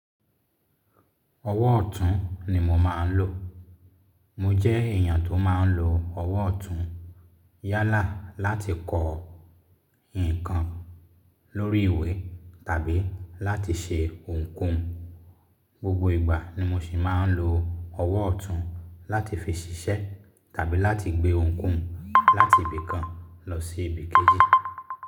Ọwọ́ ọ̀tún ni mo máa ń lò. Mo jẹ́ èèyàn tó máa ń lo ọwọ́ ọ̀tún yálà láti kọ ǹkan lórí ìwé tàbí láti ṣe ohunkóhun. Gbogbo ìgbà ni mo sì máa ń lo ọwọ́ ọ̀tún láti fi ṣiṣẹ́ tàbí láti gbé ohunkóhun láti ibì kan lọ sí ibì kéjì.